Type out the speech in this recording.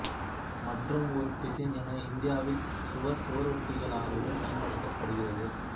மற்றும் ஒரு பிசின் என இந்தியாவில் சுவர் சுவரொட்டிகளாகவும் பயன்படுத்தப்படுகிறது